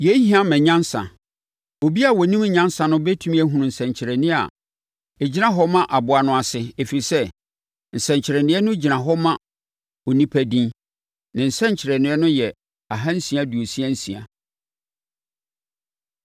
Yei hia ma nyansa. Obiara a ɔnim nyansa no bɛtumi ahunu nsɛnkyerɛnneɛ a ɛgyina hɔ ma aboa no ase, ɛfiri sɛ, nsɛnkyerɛnneɛ no gyina hɔ ma onipa edin. Ne nsɛnkyerɛnneɛ yɛ ahansia aduosia nsia.